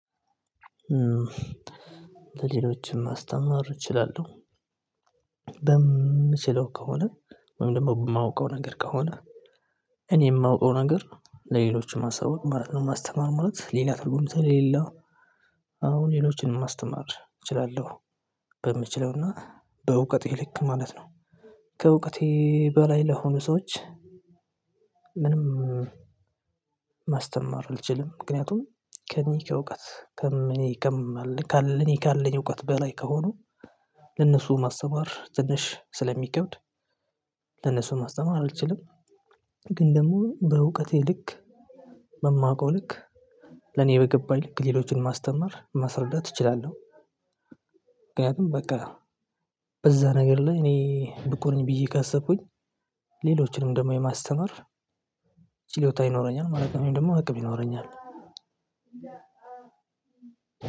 ለሌሎችም ማስተማር እችላለሁ። በምችለው ከሆነ ወይም ደግሞ በማውቀው ነገር ከሆነ እኔ የማውቀው ነገር ለሌሎችም ማሳወቅ ማለት ነው ማስተማር ማለት ሌላ ትርጉም ስለሌለው። አሁን ሌሎችንም ማስተማር እችላለሁ በምችለውና በእውቀቴ ልክ ማለት ነው። ከእውቀቴ በላይ ለሆኑ ሰዎች። ምንም ማስተማር አልችልም ምክንያቱም ከእኔ ከእውቀት ከእኔ ከምኔ ለኔ ካለኝ እውቀት በላይ ከሆኑ ለነሱ ማስተማር ትንሽ ስለሚከብድ ለነሱ ማስተማር አልችልም። ግን ደግሞ በእውቀቴ ልክ በማውቀው ልክ ለኔ በገባኝ ልክ ሌሎችን ማስተማር ማስረዳት እችላለሁ። ምክንያቱም በቃ በዛ ነገር ላይ እኔ ብቁ ነኝ ብዬ ካሰብኩኝ ሌሎችንም ደግሞ የማስተምር ችሎታ ይኖረኛል ማለተ ነውደግሞ አቅም ይኖረኛል።